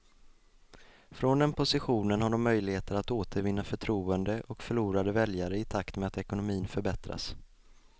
Från den positionen har de möjligheter att återvinna förtroende och förlorade väljare i takt med att ekonomin förbättras.